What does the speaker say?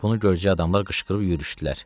Bunu gördüyü adamlar qışqırıb yürüşdülər.